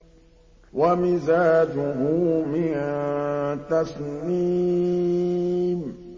وَمِزَاجُهُ مِن تَسْنِيمٍ